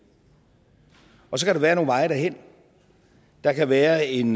så kan der være nogle veje derhen der kan være en